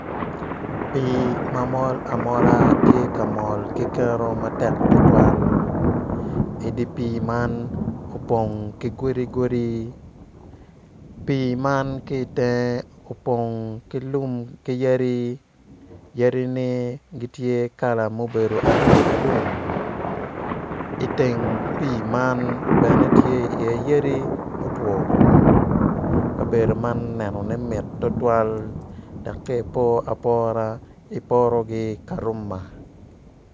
Pii ma mol amola tye ka mol ki kero matek tutwal idi pii man opong ki godigodi pii man ki iteng opong ki lum ki yadi yadini tye gitye kala ma obedo alumalum iteng pii man bene tye iye yadi mutwo otwo kabedo man nenone mit tutwal dok ka ipor apora iporo ki Karuma.